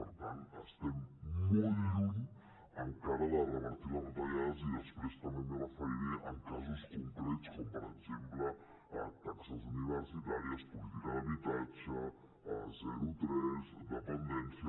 per tant estem molt lluny encara de revertir les retallades i després també m’hi referiré en casos concrets com per exemple taxes universitàries política d’habitatge zero tres dependència